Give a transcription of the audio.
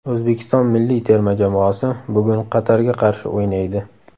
O‘zbekiston milliy terma jamoasi bugun Qatarga qarshi o‘ynaydi.